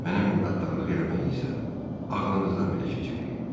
Mənə minnətdarlıq eləməyi isə ağlınızdan belə keçirməyin.